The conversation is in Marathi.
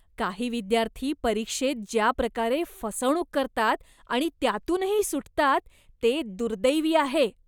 काही विद्यार्थी परीक्षेत ज्या प्रकारे फसवणूक करतात आणि त्यातूनही सुटतात, ते दुर्दैवी आहे.